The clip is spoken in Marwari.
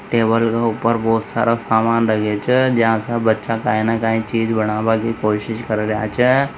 टेबल के ऊपर बहुत सारा सामान रख्ख्यो छे जहा पर बच्चा कई न कई चीज़ बनावे की कोशिश कर रिया छे।